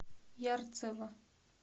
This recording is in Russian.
ярцево